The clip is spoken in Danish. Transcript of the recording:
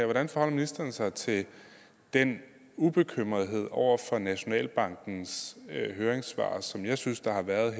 hvordan forholder ministeren sig til den ubekymrethed over for nationalbankens høringssvar som jeg synes der har været i